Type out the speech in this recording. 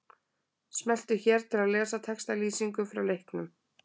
Smelltu hér til að lesa textalýsingu frá leiknum.